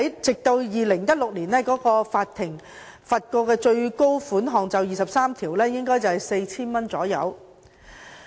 直至2016年，法庭就《條例》第23條判處的最高罰款約 4,000 元。